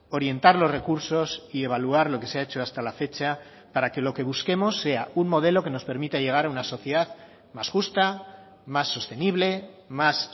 orientar los recursos y evaluar lo que se ha hecho hasta la fecha para que lo que busquemos sea un modelo que nos permita llegar a una sociedad más justa más sostenible más